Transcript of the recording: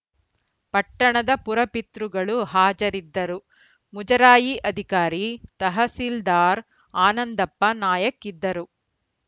ಪಟ್ಟಣದ ಪುರಪಿತೃಗಳು ಹಾಜರಿದ್ದರು ಮುಜರಾಯಿ ಅಧಿಕಾರಿ ತಹಸೀಲ್ದಾರ್‌ ಆನಂದಪ್ಪ ನಾಯಕ್‌ ಇದ್ದರು